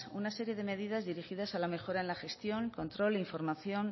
una serie de medidas dirigidas a la mejora en la gestión control e información